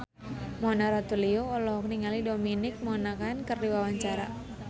Mona Ratuliu olohok ningali Dominic Monaghan keur diwawancara